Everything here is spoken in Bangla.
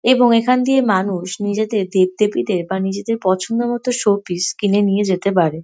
এবং এখান দিয়ে মানুষ নিজের দেবদেবীদের বা নিজের পছন্দের মত শোপিস কিনে নিয়ে যেতে পারে ।